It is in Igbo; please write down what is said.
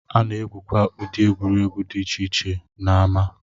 A na-egwukwa ụdị egwuregwu dị iche iche n'ámá